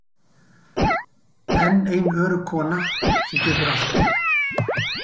Enn ein örugg kona sem getur allt.